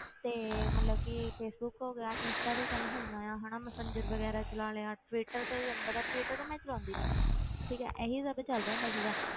ਤੇ ਮਤਲਬ ਕਿ ਫੇਸਬੁੱਕ ਹੋ ਗਿਆ, ਇੰਸਟਾ ਤੇ ਚੱਲ ਹੁਣ ਆਇਆ ਹਨਾ ਮੈਸੇਂਜਰ ਵਗ਼ੈਰਾ ਚਲਾ ਲਿਆ, ਟਵਿਟਰ ਤੇ ਤੈਨੂੰ ਪਤਾ ਟਵਿਟਰ ਤੇ ਮੈਂ ਚਲਾਉਂਦੀ ਨੀ ਠੀਕ ਹੈ ਇਹੀ ਸਭ ਚੱਲਦਾ ਹੁੰਦਾ ਸੀਗਾ,